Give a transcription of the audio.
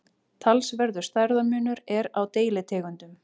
talsverður stærðarmunur er á deilitegundum